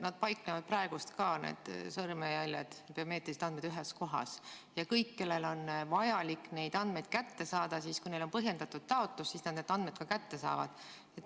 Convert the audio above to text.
Nad paiknevad praegu ka – need sõrmejäljed ja biomeetrilised andmed – ühes kohas, ja kõik, kellel on vaja neid andmeid kätte saada, siis põhjendatud taotlusega nad need andmed kätte saavad.